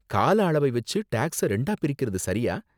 கால அளவை வெச்சு டேக்ஸை ரெண்டா பிரிக்குறது சரியா?